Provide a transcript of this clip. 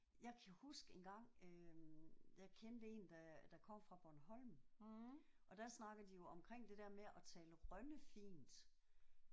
Jeg kan huske engang øh jeg kendte en der der kom fra Bornholm og der snakker de jo omkring det der med at tale rønnefint